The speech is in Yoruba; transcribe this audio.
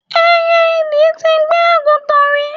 Ẹyẹ idì ti gbé àgùntàn rí.